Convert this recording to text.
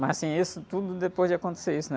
Mas, assim, isso tudo depois de acontecer isso, né?